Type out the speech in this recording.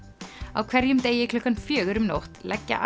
á hverjum degi klukkan fjögur um nótt leggja